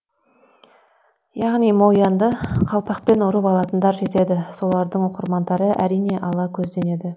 яғни мо янды қалпақпен ұрып алатындар жетеді солардың оқырмандары әрине ала көзденеді